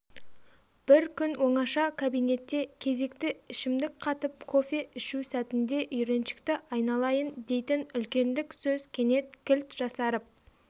бір күн оңаша кабинетте кезекті ішімдік қатып кофе ішу сәтінде үйреншікті айналайын дейтін үлкендік сөз кенет кілт жасарып